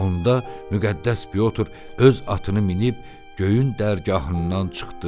Onda müqəddəs Pyotr öz atını minib göyün dərgahından çıxdı.